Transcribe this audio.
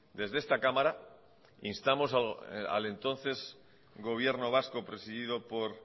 desde esta cámara instamos al entonces gobierno vasco presidido por